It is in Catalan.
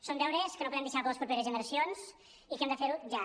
són deures que no podem deixar per a les properes generacions i hem de fer ho ja